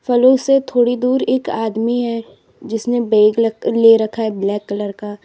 फलों से थोड़ी दूर एक आदमी है जिसने बैग ले रखा है ब्लैक कलर का।